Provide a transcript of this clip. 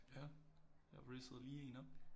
Ja jeg rizzede lige en op